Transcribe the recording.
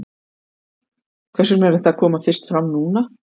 Hvers vegna er þetta að koma fyrst fram núna?